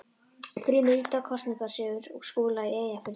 GRÍMUR: Lítið á kosningasigur Skúla í Eyjafirðinum.